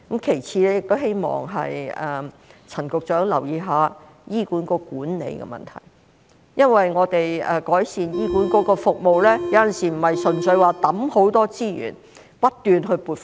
其次，我亦希望陳局長留意一下醫管局管理的問題，因為改善醫管局的服務，有時不是純粹靠投放很多資源，不斷撥款。